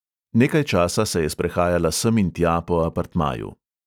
Nekaj časa se je sprehajala sem in tja po apartmaju.